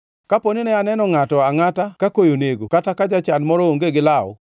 Kapo ni ne aneno ngʼato angʼata ka koyo nego, kata ka jachan moro onge gi law,